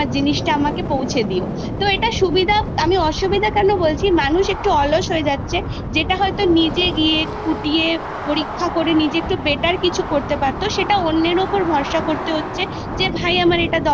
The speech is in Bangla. লিখিত পরীক্ষা নেওয়াটা উচিত না মানে Banned করা হচ্ছে যেটা আরো খারাপ বাচ্ছাদের যে জ্ঞান যে বৃদ্ধিতে এমনিই পাশ ফেলতে চলে যাওয়ার জন্য অনেক ঘাটতি চলে গেছে সেটা আরো বেশি পরিমানে যাতে